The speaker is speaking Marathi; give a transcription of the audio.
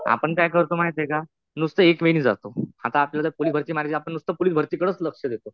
आपण काय करतो माहितीये का, नुसतं एक वे नि जातो. आता आपल्याला पोलीस भरती मारायची. आपण नुसतं पोलीस भरती कडचं लक्ष देतो.